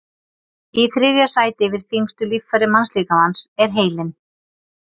Í þriðja sæti yfir þyngstu líffæri mannslíkamans er heilinn.